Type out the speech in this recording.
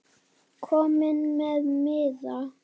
Kominn með miða?